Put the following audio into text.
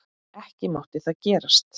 Ekki mátti það gerast.